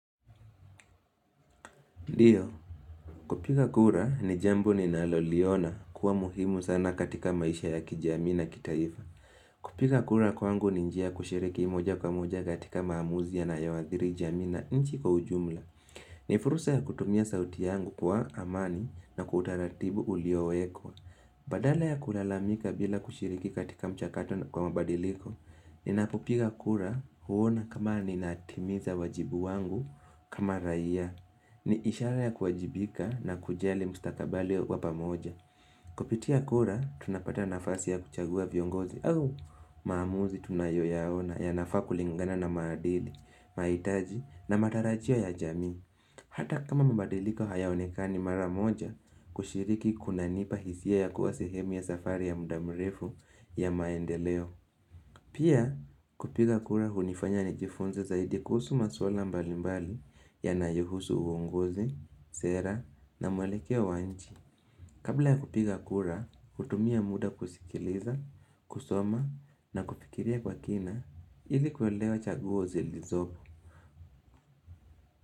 Ndiyo, kupiga kura ni jambo ninaloliona kuwa muhimu sana katika maisha ya kijamii na kitaifa. Kupiga kura kwangu ni njia kushiriki moja kwa moja katika maamuzi yanayoathiri jamii na nchi kwa ujumla. Ni fursa ya kutumia sauti yangu kwa amani na kwa utaratibu uliowekwa. Badala ya kulalamika bila kushiriki katika mchakato na kwa mabadiliko, ninapopiga kura huona kama ninatimiza wajibu wangu kama raia. Ni ishara ya kuajibika na kujali mstakabali wa pamoja Kupitia kura, tunapata nafasi ya kuchagua viongozi au maamuzi tunayoyaona yanafaa kulingana na maadili, mahitaji na matarajio ya jamii Hata kama mabadiliko hayaonekani maramoja kushiriki kunanipa hisia ya kuwa sehemu ya safari ya muda mrefu ya maendeleo Pia kupiga kura hunifanya nijifunze zaidi kuhusu maswala mbali mbali yanayohusu uongozi, sera na mwelekeo wa nchi. Kabla ya kupiga kura, kutumia muda kusikiliza, kusoma na kufikiria kwa kina ili kuelewa chaguo zilizoko.